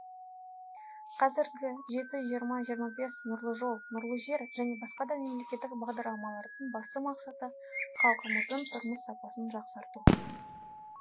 қазіргі жеті жиырма жиырма бес нұрлы жол нұрлы жер және басқа да мемлекеттік бағдарламалардың басты мақсаты халқымыздың тұрмыс сапасын жақсарту